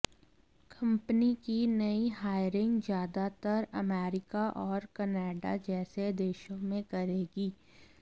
company की नई hiring ज्याजातर अमेरिका औऱ कनाडा जैसे देशों में करेगी